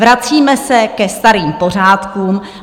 Vracíme se ke starým pořádkům.